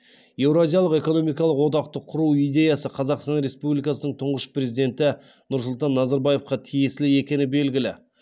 еуразиялық экономикалық одақты құру идеясы қазақстан республикасының тұңғыш президенті нұрсұлтан назарбаевқа тиесілі екені белгілі